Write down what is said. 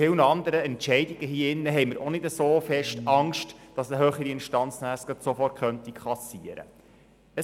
Wir treffen hier im Grossen Rat viele Entscheide, ohne Angst zu haben, dass sie nachher von einer höheren Instanz sofort kassiert werden könnten.